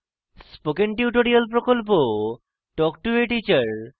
spoken tutorial প্রকল্প talk to a teacher প্রকল্পের অংশবিশেষ